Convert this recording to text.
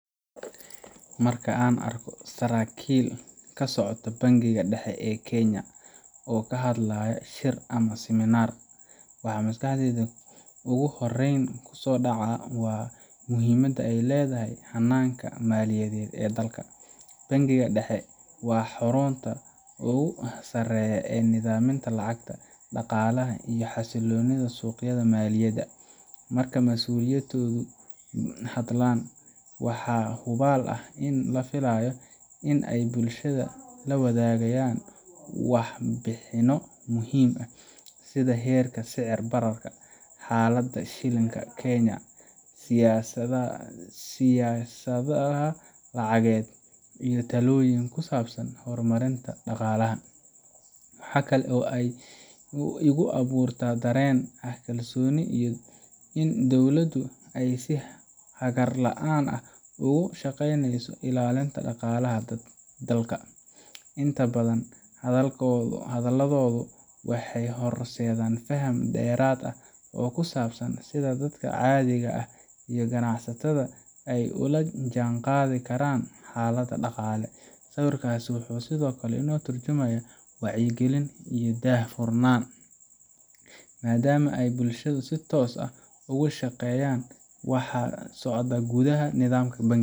Marka aan arko saraakiil ka socota Bangiga Dhexe ee Kenya oo ka hadlaya shir ama siminaar, waxa maskaxdayda ugu horreyn ku soo dhaca waa muhiimadda ay leedahay hannaanka maaliyadeed ee dalka. Bangiga Dhexe waa xarunta ugu sareysa ee nidaaminta lacagta, dhaqaalaha, iyo xasilloonida suuqyada maaliyadda. Marka masuuliyiintoodu hadlaan, waxa hubaal ah in la filayo in ay bulshada la wadaagaan warbixinno muhiim ah sida heerka sicir bararka, xaaladda shilinka Kenya, siyaasadaha lacageed, iyo talooyin ku saabsan horumarinta dhaqaalaha. Waxa kale oo ay igu abuurtaa dareen ah kalsooni iyo in dowladdu ay si hagar la’aan ah uga shaqeyneyso ilaalinta dhaqaalaha dalka. Inta badan hadalladooda waxay horseedaan faham dheeraad ah oo ku saabsan sida dadka caadiga ah iyo ganacsatada ay ula jaan qaadi karaan xaaladda dhaqaale. Sawirkaas wuxuu sidoo kale ka tarjumayaa wacyigelin iyo daah furnaan, maadaama ay bulshada si toos ah ugu sheegayaan waxa ka socda gudaha nidaamka bangiga